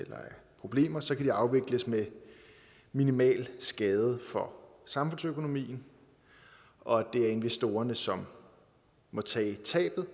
problemer så kan de afvikles med minimal skade for samfundsøkonomien det er investorerne som må tage tabet